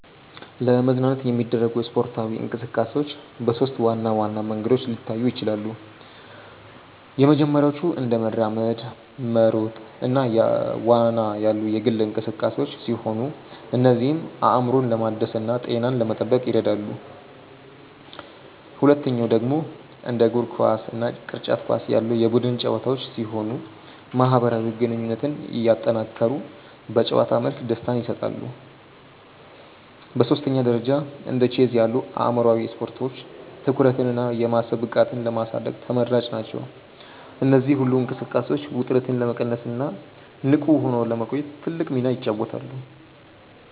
ለመዝናናት የሚደረጉ ስፖርታዊ እንቅስቃሴዎች በሦስት ዋና ዋና መንገዶች ሊታዩ ይችላሉ። የመጀመሪያዎቹ እንደ መራመድ፣ መሮጥ እና ዋና ያሉ የግል እንቅስቃሴዎች ሲሆኑ እነዚህም አእምሮን ለማደስና ጤናን ለመጠበቅ ይረዳሉ። ሁለተኛው ደግሞ እንደ እግር ኳስ እና ቅርጫት ኳስ ያሉ የቡድን ጨዋታዎች ሲሆኑ ማህበራዊ ግንኙነትን እያጠናከሩ በጨዋታ መልክ ደስታን ይሰጣሉ። በሦስተኛ ደረጃ እንደ ቼዝ ያሉ አእምሯዊ ስፖርቶች ትኩረትንና የማሰብ ብቃትን ለማሳደግ ተመራጭ ናቸው። እነዚህ ሁሉ እንቅስቃሴዎች ውጥረትን ለመቀነስና ንቁ ሆኖ ለመቆየት ትልቅ ሚና ይጫወታሉ።